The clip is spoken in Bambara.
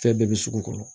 Fɛn bɛɛ bɛ sugu kɔrɔ